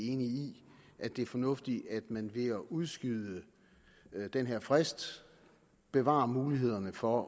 enige i at det er fornuftigt at man ved at udskyde den her frist bevarer mulighederne for